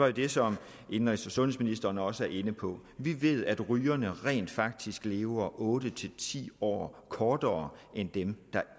jo det som indenrigs og sundhedsministeren også er inde på vi ved at rygerne rent faktisk lever otte ti år kortere end dem der